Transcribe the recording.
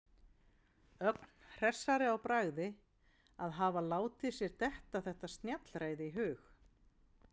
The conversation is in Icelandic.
Ögn hressari í bragði að hafa látið sér detta þetta snjallræði í hug.